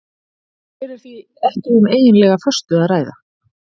Hér er því ekki um eiginlega föstu að ræða.